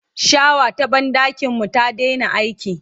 shawa ta banɗakin mu ta Daina aiki